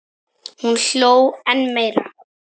Hún hló enn meira.